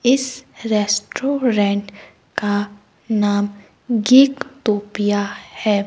इस रेस्टोरेंट का नाम गिक तोपिया है।